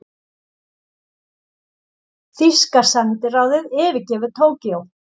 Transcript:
Þýska sendiráðið yfirgefur Tókýó